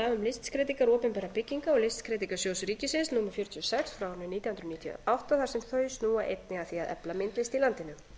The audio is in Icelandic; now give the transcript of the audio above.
listskreytingar opinberra bygginga og listskreytingasjóð ríkisins frá árinu nítján hundruð níutíu og átta þar sem þau snúa einnig að því að efla myndlist í landinu